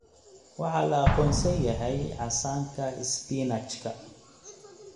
Waxaa la aqoonsan yahay casaanka isbinaajka.